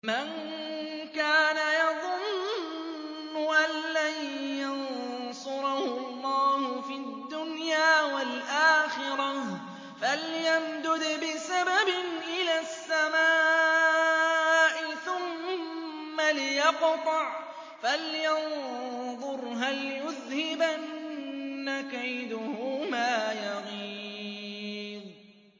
مَن كَانَ يَظُنُّ أَن لَّن يَنصُرَهُ اللَّهُ فِي الدُّنْيَا وَالْآخِرَةِ فَلْيَمْدُدْ بِسَبَبٍ إِلَى السَّمَاءِ ثُمَّ لْيَقْطَعْ فَلْيَنظُرْ هَلْ يُذْهِبَنَّ كَيْدُهُ مَا يَغِيظُ